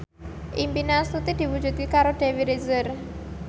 impine Astuti diwujudke karo Dewi Rezer